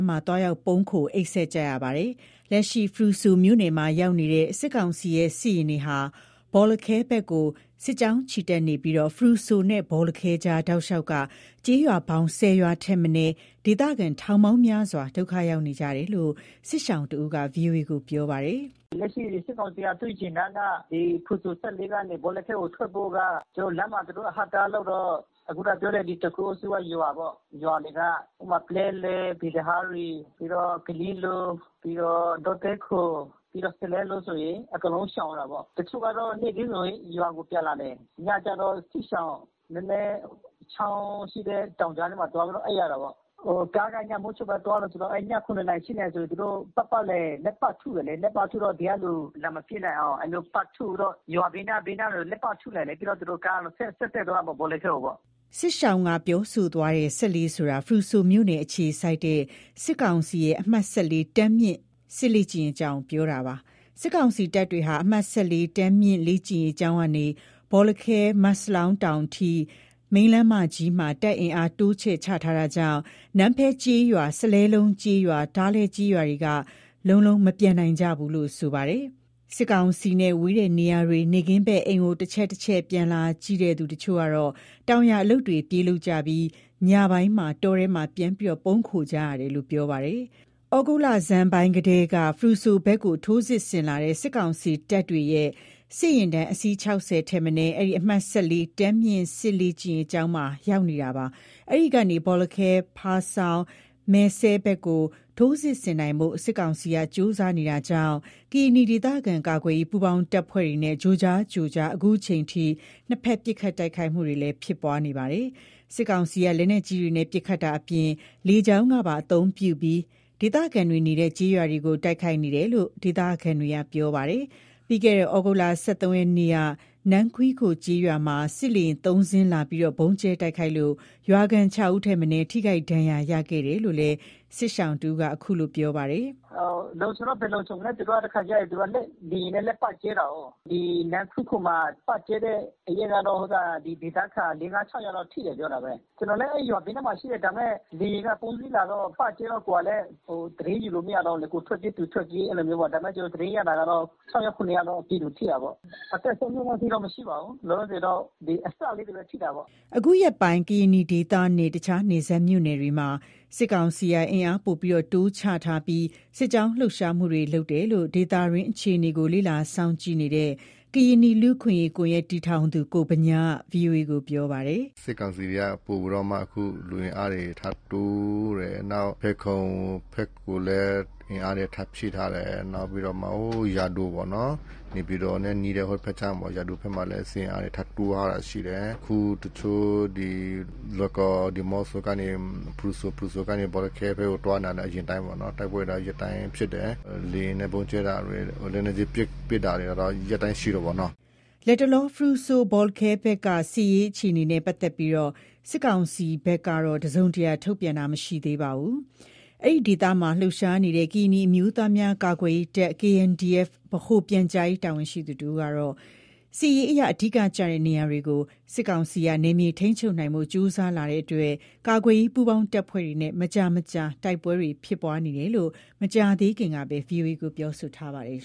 းမှာ သွားရောက်ပုန်းခို အိပ်စက် နေကြရတာပါ။ လက်ရှိ ဖရူဆိုမြို့နယ်မှာ ရောက်ရှိနေတဲ့ စစ်ကောင်စီရဲ့ စစ်ယာဉ်တွေက ဘောလခဲဘက်ကို စစ်ကြောင်းချီတက်နေပြီး ဖရူဆိုနဲ့ ဘောလခဲကြား တောက်လျှောက်က ကျေးရွာပေါင်း ၁၀ ရွာ ထက်မနည်း ဒေသခံထောင်ပေါင်းများစွာ ဒုက္ခရောက်နေကြတယ်လို့ စစ်ရှောင်တဦးက ဗွီအိုအေကို ပြောပါတယ်။ “လက်ရှိ စစ်ကောင်စီက သူ့ယာဉ်တန်က ဒီဖရူဆို ၁၄ ကနေ ဘောလခဲကို ထွက်ဖို့က ကျနော်တို့ လမ်းမှာ သူတို့အဟန့်အတားလုပ်တော့ ခုနပြောတဲ့ ဒီတခိုအုပ်စုက ရွာတွေက ဥပမာ ပလဲလယ်၊ ပီသဟာရီ၊ ပြီးတော့ ကရင်လို၊ ပြီးတော့ ဒေါသဲခို၊ ပြီးတော့ စလဲလုံး လိုဆိုရင် အကုန်လုံးရှောင်ရတာပေါ့။ တချို့ကတော့ နေ့ခင်းဆိုရင် ရွာကို ပြန်လာတယ်။ ညကျတော့ စစ်ရှောင် နည်းနည်းချောင်းရှိတဲ့ တောင်ကြာထဲမှာ သွားပြီးတော့ အိပ်ရတယ်ပေါ့။ ကားက ညမိုးချုပ်မှသွားတယ်ဆိုတော့ အဲ့ည ၇နာရီ ၈နာရီဆို သူတို့ ပတ်ပတ်လည် လှည့်ပစ်ထုတယ်လေ၊ လှည့်ပတ်ထုတော့ ဒီကလူ လာမပစ်နိုင်အောင် အဲ့လိုမျိုးပတ်ထုပြီးတော့ ရွာဘေးနား ဘေးနားတွေလည်း ပတ်ထုတယ်လေ၊ ပြီးတော့သူတို့ကားတွေဆက်တက်သွားမယ် ဘောလခဲကိုပေါ့။” စစ်ရှောင်က ပြောဆိုသွားတဲ့ ၁၄ ဆိုတာ ဖရူဆိုမြို့နယ်အခြေစိုက် စစ်ကောင်စီရဲ့ အမှတ် တန်းမြင့် စစ်လေ့ကျင့်ရေးကျောင်းကို ပြောတာပါ။ စစ်ကောင်စီတပ်တွေ အမှတ် တန်းမြင့်လေ့ကျင်းရေး ကျောင်းကနေ ဘောလခဲ မတ်စလောင်း တောင်အထိ မိန်းလမ်းမကြီးမှာ တပ်အင်အား တိုးချဲ့ချထား တာကြောင့် နန်းဖဲကျေးရွာ စလဲလုံးကျေးရွာ ထားလဲကျေးရွာတွေက လုံးလုံးမပြန်နိုင်ဘူးလို့ ဆိုပါတယ်။ စစ်ကောင်စီနဲ့ ဝေးတဲ့နေရာတွေ နေ့ခင်းဘက် အိမ်ကို တချက်ချက်ပြန်လာကြည့် တချို့က တောင်ယာအလုပ်တွေ ပြေးလုပ်ကြပြီး ညပိုင်း တောထဲမှာ ပြန်ပုန်းနေရတယ်လို့ ပြောပါတယ်။ ယခုသြဂုတ်လဆန်ပိုင်းကတည်းက ဖရူဆိုဘက်ကို ထိုးစစ်ဆင်လာတဲ့ စစ်ကောင်စီတပ်တွေရဲ့ စစ်ယာဉ်တန်း အစီး ၆၀ ထက်မနည်း အဲ့ဒီ အမှတ် တန်းမြင့်စစ်လေ့ကျင်းရေးကျောင်းမှာ ရောက်ရှိနေတာပါ။ အဲ့ဒီကနေ ဘောလခဲ ဖားဆောင်း၊ မယ်စဲဖက်ကို ထိုးစစ်ဆင်နိုင်ဖို့ စစ်ကောင်စီက ကြိုးစားနေတာကြောင့် ကရင်နီဒေသခံကာကွယ်ရေး ပူးပေါင်းတပ်ဖွဲ့တွေနဲ့ ကြိုကြားကြိုကြား ခုချိန်ထိ နှစ်ဖက်ပစ်ခတ်တိုက်ခိုက်ဖြစ်ပွားနေပါတယ်။ စစ်ကောင်စီက လက်နက်ကြီးတွေနဲ့ ပစ်ခတ်တာအပြင် လေကြောင်းပါ အသုံးပြုပြီး ဒေသခံတွေနေတဲ့ ကျေးရွာကို တိုက်ခိုက်နေတယ်လို့ ဒေသခံတွေက ပြောပါတယ်။ ပြီးခဲ့တဲ့ သြဂုတ် ၁၃ ရက်နေ့က နန်းခွီးခိုကျေးရွာမှာ စစ်လေယာဉ် ၃စင်း လာပြီး ဗုံးကျဲတိုက်ခိုက်လို့ ရွာခံ ၆ယောက်ထက်မနည်း ထိခိုက်ဒဏ်ရာရခဲ့တယ်လို့လည်း စစ်ရှောင်က ခုလို ပြောပါတယ်။ လုံခြုံတော့ ဘယ်လုံခြုံမလဲ တခါကျရင် သူက လေယာဉ်နဲ့လည်း ပတ်ကျဲတာကိုး။ ဒီ နန်းခွီးခိုမှာ ပတ်ကျဲတဲ့နေ့ကတော့ ဒီဒေသခံ ၄၊ ၅ ၊ ၆ယောက် လောက်ထိတယ် ပြောတာပဲ။ ကျနော်လည်း အဲ့ရွာဘေးနားမှာ ရှိတယ် ဒါပေမယ့် လေယာဉ်က ၃စီးလာတော့ ပတ်ကျဲတော့ ကိုယ်ကလည်း သတင်းယူလို့မရတော့ဘူးလေ၊ ကိုယ်ထွက်ပြေး သူထွက်ပြေး အဲ့လိုမျိုးပေါ့၊ ဒါပေမယ့် ကျနော ်သတင်းရတာ ကတော့ ၆ယောက် ၇ယောက်တော့ ပြည်သူထိတာပေါ့၊ အသက်ဆုံးရှုံးတဲ့အထိတော့ မရှိပါဘူး” အခုရက်ပိုင်း ကရင်နီဒေသနဲ့ တခြားနယ်စပ်မြို့နယ်တွေမှာ စစ်ကောင်စီကအင်အားပိုမိုတိုးချထားပြီး စစ်ကြောင်းလှုပ်ရှားနေတယ်လို့ ဒေသတွင်း အခြေနေကို လေ့လာစောင့်ကြည့်နေတဲ့ ကရင်နီလူ့အခွင့်အရေး ကွန်ယက် တည်ထောင်သူ ကိုဗညားက ဗွီအိုအေကို ပြောပါတယ်။ “စစ်ကောင်စီတွေက ပိုပြီးတော့မှ လူအင်အားတွေ ထပ်တိုးတယ်။ဖယ်ခုံဖက်ကိုလည်း အင်အားတွေထပ်ဖြည့်ထားတယ်။ နောက်ပြီးတော့မှ ဟို...ယာဒိုပေါ့နော် နေပြည်တော်နဲ့ နီးတဲ့ ဟိုဖက်ခြမ်းပေါ့ ယာဒိုမှာလည်း စစ်အင်အားထပ်ဖြည့်ထားတာရှိတယ်။ အခုတချို့ ဒီလွိုင်ကော် ဒီးမော့ဆိုကနေ ဖရူဆို၊ ဖရူဆိုကနေ ဘောလခဲဘက်ကို သွားနေတာ အရင်အတိုင်းပဲပေါ့နော်၊ တိုက်ပွဲက ရက်တိုင်းဖြစ်တယ်။ လေယာဉ်နဲ့ ဗုံးကျဲတာတွေ လက်နက်ကြီးပစ်တာကတော့ ရက်တိုင်းရှိတယ်ပေါ့နော်။´´ လတ်တလော ဖရူဆို-ဘောလခဲဘက်က စစ်ရေးအခြေအနေနဲ့ ပတ်သက်လို့ စစ်ကောင်စီဘက်က တစုံတရာ ထုတ်ပြန်တာ မရှိသေးပါဘူး။ အဲ့ဒီဒေသမှာ လှုပ်ရှားနေတဲ့ ကရင်နီအမျိုးသားများ ကာကွယ်ရေးတပ် ဗဟိုပြန်ကြားရေး တာဝန်ရှိသူ တဦးကတော့ စစ်ရေးအရ အဓိကကျတဲ့ နေရာတွေ ကို စစ်ကောင်စီက နယ်မြေထိန်းချုပ်နိုင်ဖို့ ကြိုးစားလာတာကြောင့် ကာကွယ်ရေး ပူးပေါင်းတပ်ဖွဲ့တွေနဲ့ မကြာမကြာ တိုက်ပွဲဖြစ်ပွားနေတယ်လို့ မကြာသေးခင်က ဗွီအိုအေကို ပြောထားပါတယ်